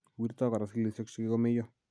Wirtoo koraa cellisiek chekikomeyoo